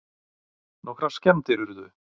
Nokkrar skemmdir urðu